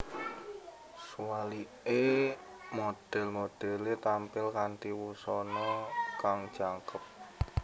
Suwalike model modele tampil kanthi wusana kang jangkep